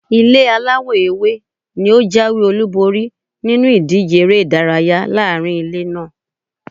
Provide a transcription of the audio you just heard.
Ilé aláwọ̀ ewé ni ó jáwé-olúborí nínú ìdíje èrè-ìdárayá laarin ilé naa.